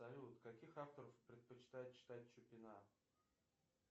салют каких авторов предпочитает читать чупина